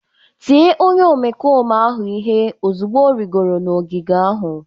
Tie onye omekome ahụ ihe ozugbo ọ rịgoro n'ogige ahụ